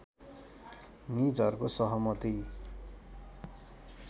निजहरूको सहमति